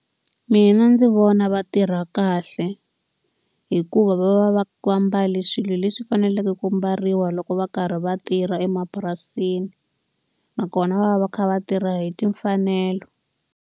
Mina ndzi vona va tirha kahle, hikuva va va va mbale swilo leswi faneleke ku mbariwa loko va karhi va tirha emapurasini. Nakona va va va kha va tirha hi timfanelo.